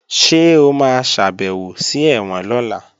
Ṣé o máa ṣàbèwò sí ẹ̀wọ̀n lọ́la?